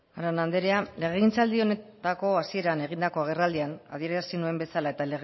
arana andrea legegintzaldi honetako hasieran egindako agerraldian adierazi nuen bezala eta